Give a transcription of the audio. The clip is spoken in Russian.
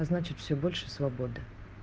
значит всё больше свободы